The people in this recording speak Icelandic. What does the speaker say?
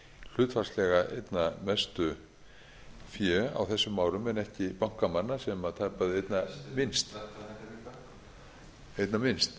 hlutfallslega einna mestu fé á þessum árum en ekki bankamanna sem tapaði einna minnst